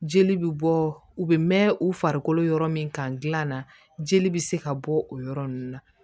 Jeli bɛ bɔ u bɛ mɛn u farikolo yɔrɔ min kan dilan na jeli bɛ se ka bɔ o yɔrɔ ninnu na